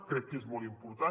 crec que és molt important